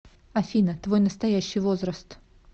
афина твой настоящий возраст